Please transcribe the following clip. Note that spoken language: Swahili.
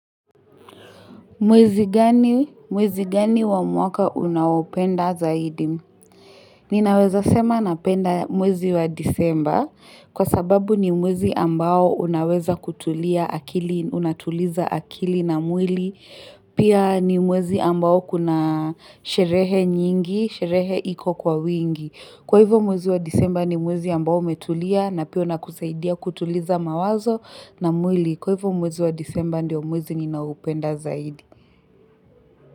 Mwezi gani? Mwezi gani wa mwaka unaopenda zaidi? Ninaweza sema napenda mwezi wa Disemba kwa sababu ni mwezi ambao unaweza kutulia akili, unatuliza akili na mwili. Pia ni mwezi ambao kuna sherehe nyingi, sherehe iko kwa wingi. Kwa hivyo mwezi wa Disemba ni mwezi ambao umetulia na pia unakusaidia kutuliza mawazo na mwili. Kwa hivyo mwezi wa disemba ndio mwezi ninaopenda zaidi.